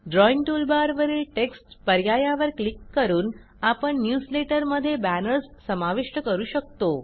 drawing टूलबारवरील text पर्यायावर click करून आपण न्यूजलेटर मध्ये बॅनर्स समाविष्ट करू शकतो